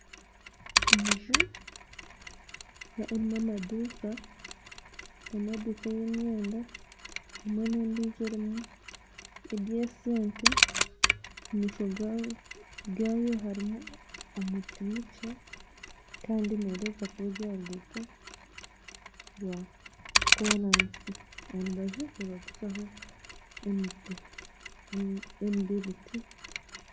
Enju erimu amaduuka erimu eduuka y'emyenda hamwe n'endiijo erimu eby'esente omu maisho gaayo hariho omuti mukye kandi nereebeka kuba eri aha ruguuto rwakooraasi aha rubaju nibaguzaho emiti y'emibiriti